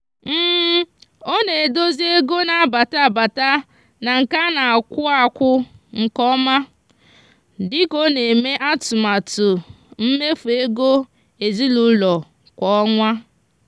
ọ na-edozi ego na-abata abata na nke a na-akwụ akwụ nke ọma dị ka ọ na-eme atụmatụ mmefu ego ezinụụlọ kwa ọnwa.